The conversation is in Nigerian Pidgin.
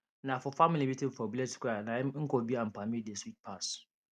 na for family meeting for village square na im nkwobi and palmi dey sweet pass